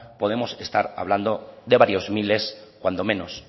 podemos estar hablando de varios miles cuando menos